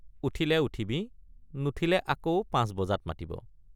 উঠিলে উঠিবি নুঠিলে আকৌ পাঁচ বজাত মাতিব।